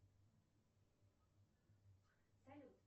салют